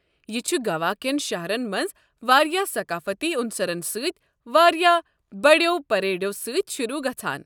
یہِ چھُ گوا كٮ۪ن شہرن مَنٛز واریاہ ثقافٔتی عُنصَرن سۭتۍ واریاہ بڑٮ۪و پریڈو سۭتۍ شروٗع گژھان۔